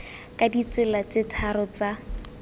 ka ditsela tse tharo tsa